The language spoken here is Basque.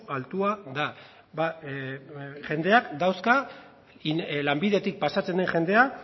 altua da jendeak dauzka lanbidetik pasatzen den jendea